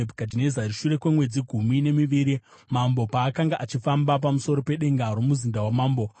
Shure kwemwedzi gumi nemiviri, mambo paakanga achifamba pamusoro pedenga romuzinda wamambo weBhabhironi,